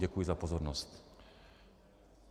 Děkuji za pozornost.